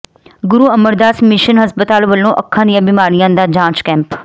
ਗੁਰੂ Amardas mission ਹਸਪਤਾਲ ਵਲੋਂ ਅੱਖਾਂ ਦੀਆਂ ਬਿਮਾਰੀਆਂ ਦਾ ਜਾਂਚ ਕੈਂਪ